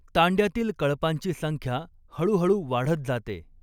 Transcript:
तांड्यातील कळपांची संख्या हळूहळू वाढत जाते.